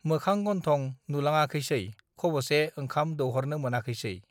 मोखां गन्थं नुलाङाखैसै खबसे ओंखाम दौहरनो मोनाखैसै